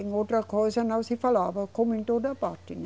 Em outra coisa não se falava, como em toda parte, né?